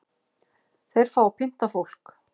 Þeir fá að pynta fólk